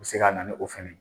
U se ka na ni o fana ye.